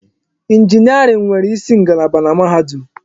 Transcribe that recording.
Injiniarin nwere isi ngalaba na mahadum.